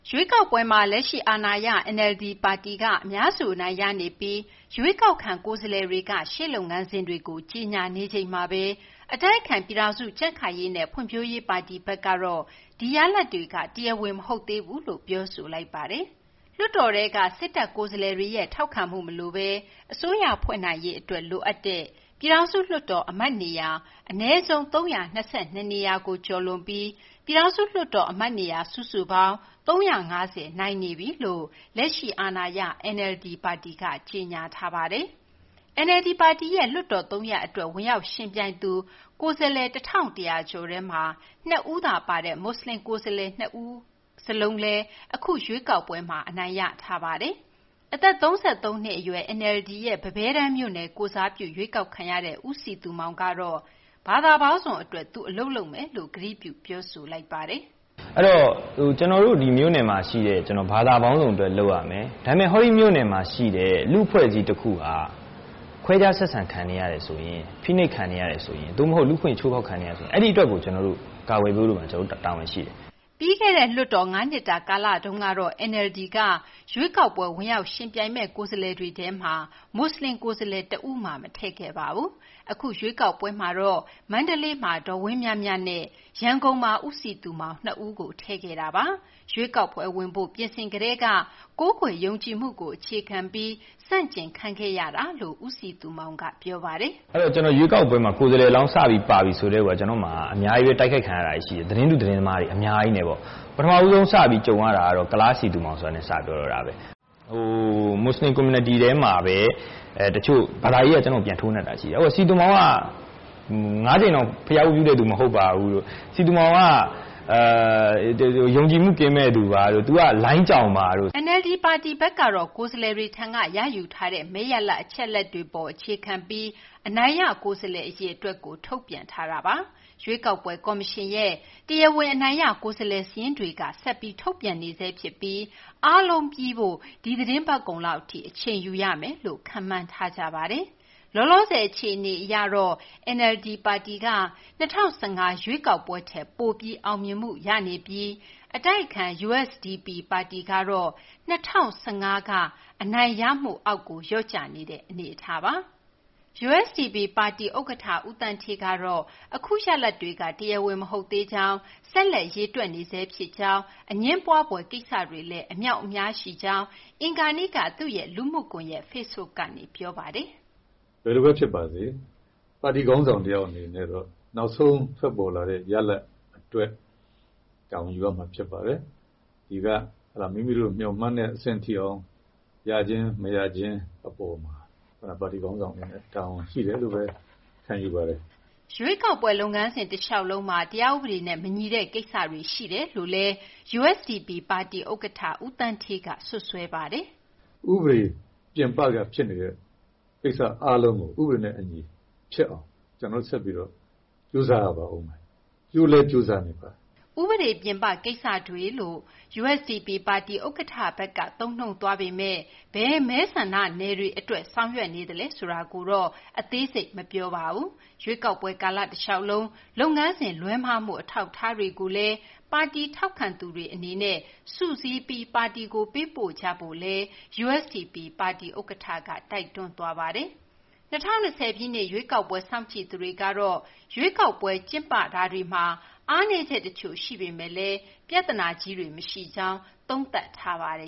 ရွေးကောက်ပွဲမှာ လက်ရှိ အာဏာရ NLD ပါတီက အများစု အနိုင်ရနေပြီး ရွေးကောက်ခံကိုယ်စားလှယ်တွေက ရှေ့လုပ်ငန်းစဉ်တွေကို ကြေညာနေချိန်မှာဘဲ အတိုက်အခံ ပြည်ထောင်စု ကြံံ့ခိုင်ရေးနဲ့ဖွံ့ဖြိုးရေး ပါတီဘက်ကတော့ ဒီရလဒ်တွေက တရားဝင် မဟုတ်သေးဘူးလို့ ပြောဆိုလိုက်ပါတယ်။ ဒီအကြောင်း မသိင်္ဂ ီထိုက် ပြောပြပေးပါမယ်။ လွှတ်တော်ထဲက စစ်တပ် ကိုယ်စားလှယ်တွေရဲ့ ထောက်ခံမှု မလိုဘဲ အစိုးရဖွဲ့နိုင်ရေး အတွက် လိုအပ်တဲ့ ပြည်ထောင်စု လွှတ်တော် အမတ်နေရာ အနည်းဆုံး ၃၂၂ နေရာကို ကျော်လွန်ပြီး ပြည်ထောင်စု လွှတ်တော် အမတ်နေရာ စုစုပေါင်း ၃၅၀ အနိုင်ရနေပြီလို့ လက်ရှိ အာဏာရ NLD ပါတီက ကြေညာထားပါတယ်။ NLD ပါတီရဲ့ လွှတ်တော် သုံးရပ် အတွက် ဝင်ရောက် ယှဉ်ပြိုင်သူ ကိုယ်စားလှယ် ၁၁၀၀ ကျော်ထဲမှာ ၂ ဦးသာ ပါတဲ့ မူဆလင် ကိုယ်စားလှယ် ၂ ဦးစလုံး အခု ရွေးကောက်ပွဲမှာ အနိုင်ရထားပါတယ်။ အသက် ၃၃ နှစ် အရွယ် NLD ရဲ့ ပန်းပဲတန်းမြို့နယ် ကိုယ်စားပြု ရွေးကောက်ခံရတဲ့ ဦးစည်သူမောင်ကတော့ ဘာသာပေါင်းစုံ အတွက် သူ အလုပ်လုပ်မယ်လို့ ကတိပြု ပြောဆိုလိုက်ပါတယ်။ “ကျနော် ဒီမြို့နယ်မှာ ရှိတဲ့ ဘာသာပေါင်းစုံ အတွက် လုပ်ရမယ်။ ဒါပေမယ့် ဟောဒီမြို့နယ်မှာ ရှိတဲ့ လူ့အဖွဲ့အစည်း တခုဟာ ခွဲခြား ဆက်ဆံ ခံနေရတယ်ဆိုရင်၊ ဖိနှိပ် ခံနေရတယ်ဆိုရင် လူ့အခွင့်အရေး ချိုးဖောက်ခံနေရတယ်ဆိုရင် အဲဒီ အတွက်ကို ကာကွယ်ပေးဖို့က ကျနော်တို့မှာ တာဝန်ရှိတယ်။ ” ပြီးခဲ့တဲ့ လွှတ်တော် ၅ နှစ်တာ ကာလတုန်းကတော့ NLD က ရွေးကောက်ပွဲ ဝင်ရောက် ယှဉ်ပြိုင်မယ့် ကိုယ်စားလှယ်တွေထဲမှာ မူဆလင် ကိုယ်စားလှယ် တဦးမှ မထည့်ခဲ့ပါဘူး။ အခု ရွေးကောက်ပွဲမှာမှ မန္တလေးမှာ ဒေါ်ဝင်းမြမြနဲ့ ရန်ကုန်မှာ ဦးစည်သူမောင် ၂ ဦးကို ထည့်ခဲ့တာပါ။ ရွေးကောက်ပွဲ ဝင်ဖို့ ပြင်ဆင်ကတည်းက ကိုးကွယ်ယုံကြည်မှုကို အခြေခံပြီး ဆန့်ကျင်ခံခဲ့ရပါတယ်လို့ ဦးစည်သူမောင်က ပြောပါတယ်။ “ ကိုယ်စားလှယ်လောင်း စပြီး ပါကတည်းက ကျနော့မှာ အများကြီးဘဲ တိုက်ခိုက် ခံရတာတွေ ရှိတယ်။ သတင်းတု သတင်းမှားတွေ အများကြီးနဲ့ပေါ့။ ပထမဆုံး စကြုံရတာကတော့ ကုလား စည်သူမောင် ဆိုတာနဲ့ စပြောတော့တာဘဲ။” “ မူဆလင် ကွန်မြူနတီထဲမှာဘဲ ဘာသာရေး အရ ကျနော့်ကို ပြန်ထိုးနှက်တာ ရှိတယ်။ စည်သူမောင်က ၅ ကြိမ်တောင် ဘုရားဝတ်ပြုတဲ့သူ မဟုတ်ပါဘူးတို့ ၊ စည်သူမောင်က ယုံကြည်မှု ကင်းမဲ့သူပါတို့ ၊ သူက လိုင်းကြောင်ပါတို့။ ” NLD ပါတီဘက်ကတော့ ကိုယ်စားလှယ်တွေထံက ရယူထားတဲ့ မဲရလဒ် အချက်အလက်တွေ အပေါ် အခြေခံပြီး အနိုင်ရ ကိုယ်စားလှယ် အရေအတွက်ကို ထုတ်ပြန်ထားတာပါ။ ရွေးကောက်ပွဲ ကော်မရှင်ရဲ့ တရားဝင် အနိုင်ရကိုယ်စားလှယ် စာရင်းတွေကတော့ ဆက်ပြီး ထုတ်ပြန်နေဆဲ ဖြစ်ပြီး အားလုံး ပြီးစီးဖို့ ဒီ သီတင်းပတ်ကုန်လောက် အထိ အချိန်ယူ ရမယ်လို့ ခန့်မှန်းထားကြပါတယ်။ လောလောဆယ် အခြေအနေ အရတော့ NLD ပါတီက ၂၀၁၅ ရွေးကောက်ပွဲထက် ပိုပြီး အောင်မြင်မှု ရနေပြီး အတိုက်အခံ USDP ပါတီကတော့ ၂၀၁၅ က အနိုင်ရမှုအောက် လျော့ကျနေတဲ့ အနေအထားပါ။ USDP ပါတီ ဥက္ကဌ ဦးသန်းဌေးကတော့ အခု ရလဒ်တွေက တရားဝင် မဟုတ်သေးကြောင်း ဆက်လက်ရေတွက်နေဆဲ ဖြစ်ကြောင်း အငြင်းပွာဖွယ် ကိစ္စတွေလည်း အများအပြား ရှိနေကြောင်း အင်္ဂါနေ့က သူ့ရဲ့ လူမှုကွန်ရက် Facebook ကနေ ပြောပါတယ်။ “ဘယ်လိုဘဲ ဖြစ်ပါစေ ပါတီ ခေါင်းဆောင် တယောက် အနေနဲ့တော့ နောက်ဆုံး ထွက်ပေါ်လာတဲ့ ရလဒ် အတွက် တာဝန်ယူရမှာ ဖြစ်ပါတယ်။ မိမိတို့ မေ ျှာ်မှန်းတဲ့ အဆင့်ထိအောင် ရခြင်း မရခြင်း အပေါ်မှာ ပါတီ ခေါင်းဆောင် အနေနဲ့ တာဝန်ရှိတယ်လို့ဘဲ ခံယူပါတယ်။ ” ရွေးကောက်ပွဲ လုပ်ငန်းစဉ် တလေ ျှာက်လုံးမှာ တရားဥပဒေနဲ့ မညီတဲ့ ကိစ္စတွေ ရှိတယ်လို့လည်း ပါတီ ဥက္ကဌ ဦးသန်းဌေးက စွပ်စွဲပါတယ်။ “ ဥပဒေ ပြင်ပက ဖြစ်နေတဲ့ ကိစ္စအားလုံးကို ဥပဒေနဲ့ အညီ ဖြစ်အောင် ကျနော်တို့ ဆက်ပြီး ကြိုးစား ရပါအုံးမယ်။ ကြိုးလည်း ကြိုးစာနေပါတယ်။ ” ဥပဒေ ပြင်ပ ကိစ္စတွေလို့ USDP ပါတီ ဥက္ကဌဘက်က သုံးနှုန်းသွားမယ့် ဘယ်မဲဆန္ဒနယ်တွေ အတွက် ဆောင်ရွက်နေသလဲ ဆိုတာကိုတော့ အသေးစိတ်ကိုတော့ ရှင်းလင်း ပြောဆိုခြင်း မရှိသေးပါဘူး။ ရွေးကောက်ပွဲ ကာလ တလျှောက်လုံး လုပ်ငန်းစဉ် လွဲမှားမှု အထောက်အထားတွေကိုလည်း ပါတီ ထောက်ခံသူတွေ အနေနဲ့ စုစည်းပြီး ပါတီကို ပေးပို့ကြဖို့လည်း USDP ပါတီ ဥက္ကဌက တိုက်တွန်းသွားပါတယ်။ ၂၀၂၀ ပြည့်နှစ် လွှတ်တော် ရွေးကောက်ပွဲ စောင့်ကြည့်သူတွေကတော့ ရွေးကောက်ပွဲတွေဟာ အားနည်းချက် တချို့ ရှိပေမယ့်လည်း ပြသနာကြီးတွေတော့ မရှိကြောင်း သုံးသပ် ပြောဆိုထားပါတယ